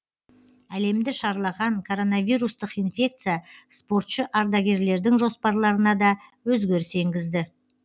әлемді шарлаған коронавирустық инфекция спортшы ардагерлердің жоспарларына да өзгеріс енгізді